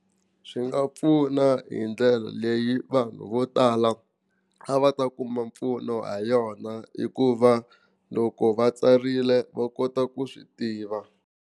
Swi nga pfuna hi ndlela leyi vanhu vo tala a va ta kuma mpfuno ha yona hikuva loko va tsarile va kota ku swi tiva.